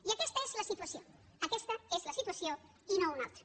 i aquesta és la situació aquesta és la situació i no una altra